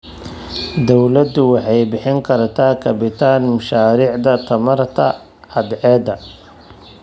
Dawladdu waxay bixin kartaa kabitaan mashaariicda tamarta cadceedda.